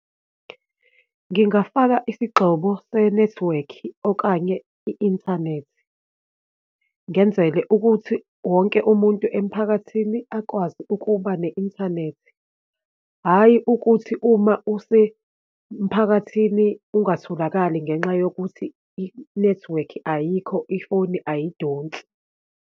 Ngingafaka isigxobo senethiwekhi, okanye i-inthanethi ngenzele ukuthi wonke umuntu emphakathini akwazi ukuba ne-inthanethi. Hhayi ukuthi uma usemphakathini ungatholakali ngenxa yokuthi inethiwekhi ayikho, ifoni ayidonsi.